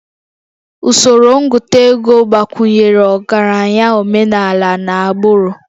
Usoro ngụta ego gbakwunyere ọgaranya omenala n'agbụrụ